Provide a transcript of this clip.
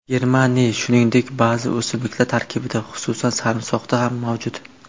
Germaniy, shuningdek, ba’zi o‘simliklar tarkibida, xususan, sarimsoqda ham mavjud.